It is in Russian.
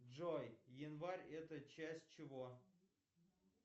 джой январь это часть чего